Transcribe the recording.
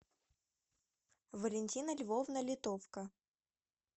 валентина львовна литовка